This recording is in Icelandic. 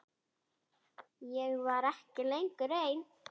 Ég var ekki lengur ein.